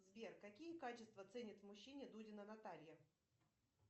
сбер какие качества ценит в мужчине дудина наталья